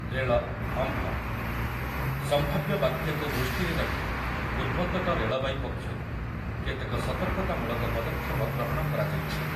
ରେଳ ଅମ୍ଫନ୍ , ସମ୍ଭାବ୍ୟ ବାତ୍ୟାକୁ ଦୃଷ୍ଟିରେ ରଖି ପୂର୍ବତଟ ରେଳବାଇ ପକ୍ଷରୁ କେତେକ ସତର୍କତାମୂଳକ ପଦକ୍ଷେପ ଗ୍ରହଣ କରାଯାଇଛି ।